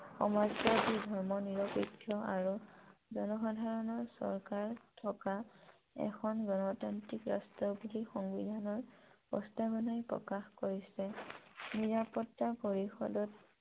সমাজবাদী ধৰ্মনিৰপেক্ষ আৰু জনসাধাৰাণৰ চৰকাৰ থকা এখন গনতান্ত্ৰিক ৰাষ্ট্ৰ বুলি সংবিধানৰ প্ৰস্তাৱনাই প্ৰকাশ কৰিছে নিৰাপত্তা পৰিষদত